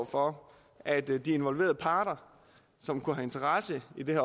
for at de involverede parter som har interesse i det